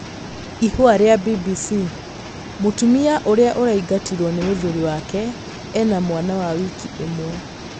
Ihũa rĩa BBC: Mũtumia ũrĩa ũraingatirwo nĩ mũthuri wake ena mwana wa wiki ĩmwe.